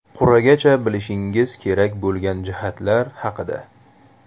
Qur’agacha bilishingiz kerak bo‘lgan jihatlar haqida.